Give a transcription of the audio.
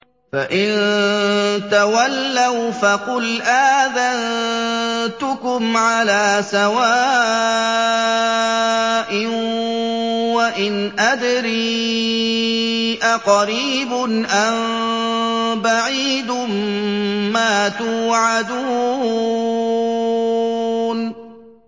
فَإِن تَوَلَّوْا فَقُلْ آذَنتُكُمْ عَلَىٰ سَوَاءٍ ۖ وَإِنْ أَدْرِي أَقَرِيبٌ أَم بَعِيدٌ مَّا تُوعَدُونَ